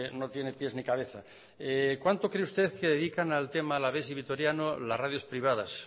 no tiene pies ni cabeza cuánto cree usted que dedican al tema alavés y vitoriano las radios privadas